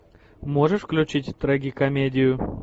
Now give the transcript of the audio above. можешь включить трагикомедию